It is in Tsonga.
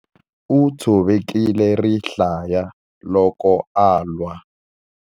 U tshovekile rihlaya loko a lwa.